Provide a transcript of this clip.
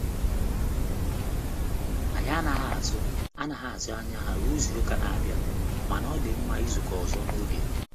Anyị anaghị atụ anaghị atụ anya ha ruo izu-uka na-abịa, mana ọ dị mma izukọ ọzọ n'oge.